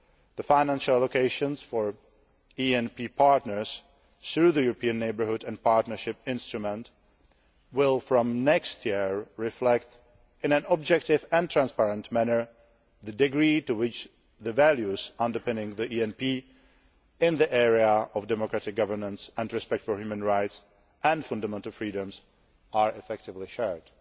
The financial locations for ENP partners through the European Neighbourhood and Partnership Instrument will, from next year, reflect in an objective and transparent manner the degree to which the values underpinning the ENP in the area of democratic governance and respect for human rights and fundamental freedoms are effectively shared.